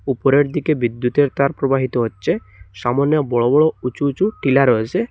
ওপরের দিকে বিদ্যুতের তার প্রবাহিত হচ্ছে সামনে বড় বড় উঁচু উঁচু টিলা রয়েসে।